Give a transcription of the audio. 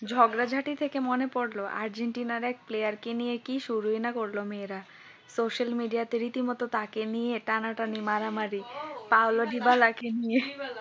ঝগড়াঝাটি থেকে মনে পড়ল আর্জেন্টিনা এর এক player কে নিয়ে নাকি কি শুরু না করল মেয়েরা social media তে রীতিমতো তাকে নিয়ে টানাটানি মারামারি পাওলোজিবালা কে নিয়ে